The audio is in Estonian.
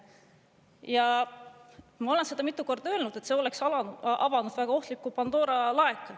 Ja ma olen seda mitu korda öelnud, et see oleks avanud väga ohtliku Pandora laeka.